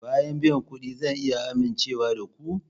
Bayan biyan kuɗin zan iya amincewa da ku?